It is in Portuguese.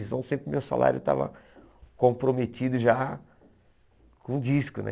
Então sempre o meu salário estava comprometido já com o disco, né?